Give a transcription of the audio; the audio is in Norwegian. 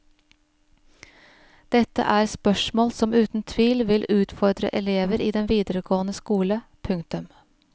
Dette er spørsmål som uten tvil vil utfordre elever i den videregående skole. punktum